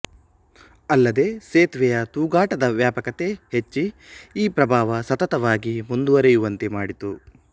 ಅಲ್ಲದೇ ಸೇತುವೆಯ ತೂಗಾಟದ ವ್ಯಾಪಕತೆ ಹೆಚ್ಚಿ ಈ ಪ್ರಭಾವ ಸತತವಾಗಿ ಮುಂದುವರೆಯುವಂತೆ ಮಾಡಿತು